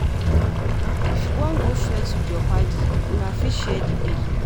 If you wan go flex with you padi, una fit share di bill